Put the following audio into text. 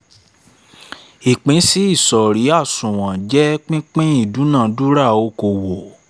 ìpínsí ìsọ̀rí àsunwon jẹ́ pípín ìdúnadúrà okòwò